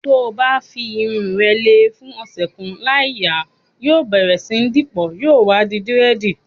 To bá fi irun rẹ lè fún ọ̀sẹ̀ kan láì yà, yóò bẹ̀rẹ̀ sí dípọ̀, yóò wá di dírẹ̀dì.